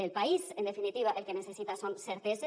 el país en definitiva el que necessita són certeses